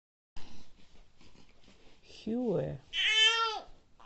хюэ